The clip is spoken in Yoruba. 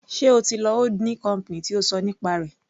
Sé o ti lọ holding company tí o ṣọ nípa rẹ̀.